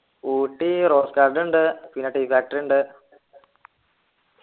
Ooty rose garden ഉണ്ട് പിന്നെ tea factory ഉണ്ട്